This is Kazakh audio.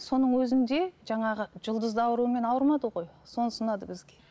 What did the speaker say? соның өзінде жаңағы жұлдызды аурумен ауырмады ғой сонысы ұнады бізге